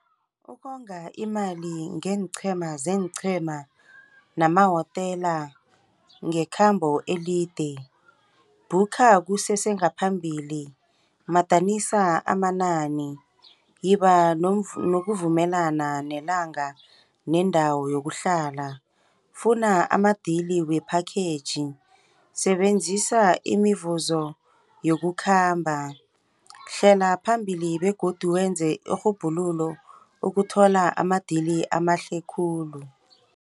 Ukonga imali ngeenqhema zeenqhema namahotela ngekhambo elide. Booker kusese ngaphambili. Madanisa amanani, yiba nokuvumelana nelanga nendawo yokuhlala. Funa ama-deal we-package, sebenzisa imivuzo yokukhamba. Hlela phambili begodu wenze irhubhululo ukuthola ama-deal amahle khulu.